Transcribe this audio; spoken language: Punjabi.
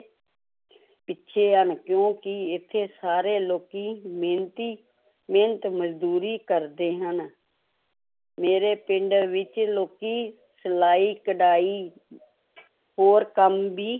ਪਿੱਛੇ ਹਨ, ਕਿਉਂਕਿ ਇੱਥੇ ਸਾਰੇ ਲੋਕੀ ਮਿਹਨਤੀ ਮਿਹਨਤ ਮਜ਼ਦੂਰੀ ਕਰਦੇ ਹਨ ਮੇਰੇ ਪਿੰਡ ਵਿੱਚ ਲੋਕੀ ਸਲਾਈ ਕਢਾਈ ਹੋਰ ਕੰਮ ਵੀ